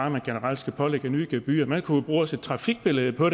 at man generelt skal pålægge nye gebyrer man kunne jo også bruge et trafikbillede på